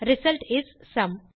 result is sum